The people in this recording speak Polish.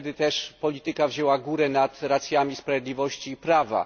Wtedy też polityka wzięła górę nad racjami sprawiedliwości i prawa.